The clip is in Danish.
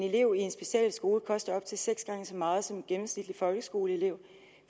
elev i en specialskole koster op til seks gange så meget som en gennemsnitlig folkeskoleelev